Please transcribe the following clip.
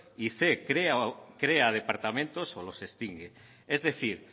y cien crea departamentos o los extingue es decir